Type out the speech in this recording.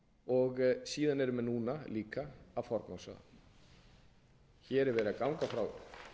og síðan eru menn eina núna að forgangsraða hér er verið að ganga frá